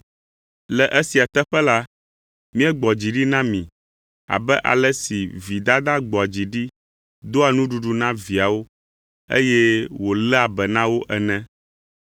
Le esia teƒe la, míegbɔ dzi ɖi na mi abe ale si vi dada gbɔa dzi ɖi doa nuɖuɖu na viawo, eye wòléa be na wo ene.